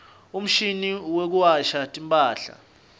umshini wekuwasha timphahla